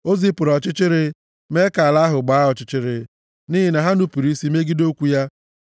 O zipụrụ ọchịchịrị, mee ka ala ahụ gbaa ọchịchịrị, nʼihi na ha nupuru isi megide okwu ya.